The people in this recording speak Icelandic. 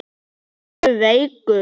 Ertu feigur?